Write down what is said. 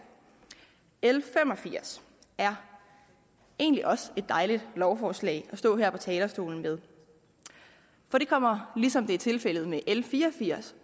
l fem og firs er egentlig også et dejligt lovforslag at stå her på talerstolen med for det kommer ligesom det er tilfældet med l fire og firs